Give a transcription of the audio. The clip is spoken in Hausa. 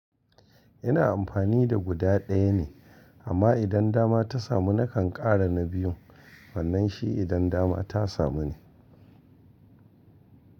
Ina amfani da guda ɗaya ne amma idan dama ta samu na kan ƙara na biyu. Wannan shi idan dama ta samu ne.